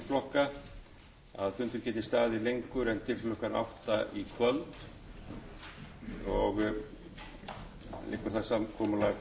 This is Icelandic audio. fundur geti staðið lengur en til klukkan átta í kvöld og liggur það samkomulag